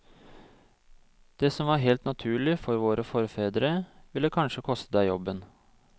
Det som var helt naturlig for våre forfedre, ville kanskje koste deg jobben.